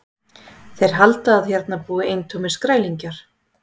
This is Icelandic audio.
Þeir halda að hérna búi eintómir skrælingjar.